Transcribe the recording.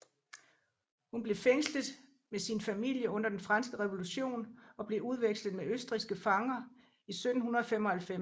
Hun blev fængslet med sin familie under Den Franske Revolution og blev udvekslet med østrigske fanger i 1795